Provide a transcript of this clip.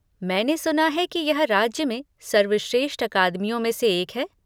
मैंने सुना है कि यह राज्य में सर्वश्रेष्ठ अकादमियों में से एक है?